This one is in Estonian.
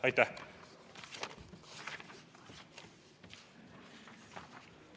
Aitäh!